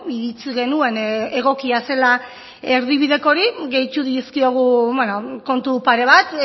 iritzi genuen egokia zela erdibideko hori gehitu dizkiogu kontu pare bat